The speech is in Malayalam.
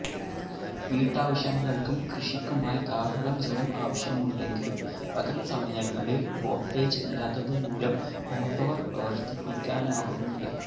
വീട്ടാവശ്യങ്ങള്ക്കും കൃഷിക്കുമായി ധാരാളം ജലം ആവശ്യമുണ്ടെങ്കിലും പകല്സമയങ്ങളില് വോള്ട്ടേജ് ഇല്ലാത്തതുമൂലം മോട്ടോര് പ്രവര്ത്തിപ്പിക്കാനാകുന്നില്ല